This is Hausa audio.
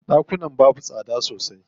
Ɗakunan babu tsada sosai.